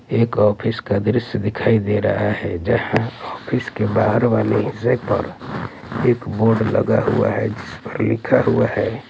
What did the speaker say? एक ऑफिस का दृश्य दिखाई दे रहा है जहां ऑफिस के बाहर वाले हिस्से पर एक बोर्ड लगा हुआ है जिस पर लिखा हुआ है--